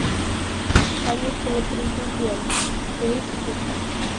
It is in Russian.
каникулы президента поищи ка